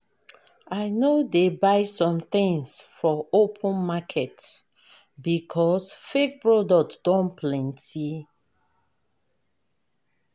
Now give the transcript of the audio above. I no dey buy sometins for open market because fake product don plenty. plenty.